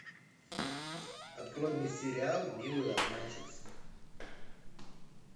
открой мне сериал милые обманщицы